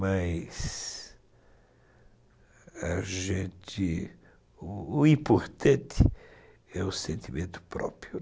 Mas, a gente, importante é o sentimento próprio.